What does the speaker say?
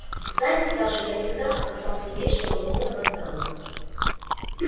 знаете саша я всегда опасался есть шаурму на вокзалах